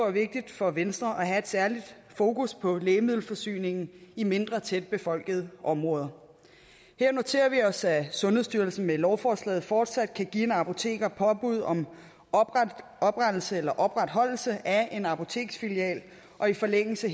er vigtigt for venstre at have et særligt fokus på lægemiddelforsyningen i mindre tæt befolkede områder her noterer vi os at sundhedsstyrelsen med lovforslaget fortsat kan give en apoteker påbud om oprettelse eller opretholdelse af en apoteksfilial og i forlængelse